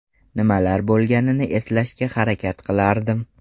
Nimalar bo‘lganini eslashga harakat qilardim.